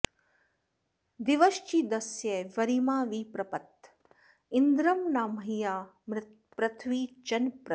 दिवश्चिदस्य वरिमा वि पप्रथ इन्द्रं न मह्ना पृथिवी चन प्रति